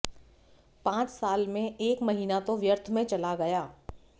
पांच साल में एक महीना तो व्यर्थ में चला गया